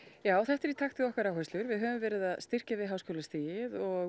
já þetta er í takt við okkar áherslur við höfum verið að styrkja við háskólastigið